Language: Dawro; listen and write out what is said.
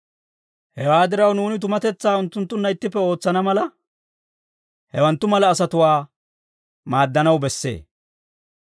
Hewaa diraw, nuuni tumatetsaa unttunttunna ittippe ootsana mala, hawanttu mala asatuwaa maaddanaw bessee.